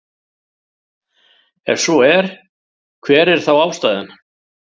Ef svo er hver er þá ástæðan?